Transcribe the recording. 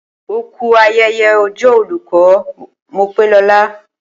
Oku ayẹyẹ ọjọ́ olùkọ́, Mopelola